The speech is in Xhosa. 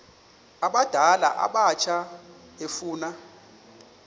abadala abatsha efuna